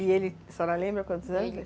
E ele, a senhora lembra quantos anos?